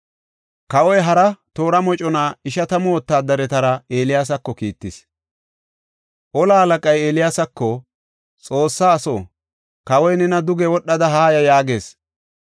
Kawoy hara toora mocona ishatamu wotaadaretara Eeliyaasako kiittis. Tora moconay Eeliyaasako, “Xoossa aso, kawoy nena duge wodhada haaya” yaagees.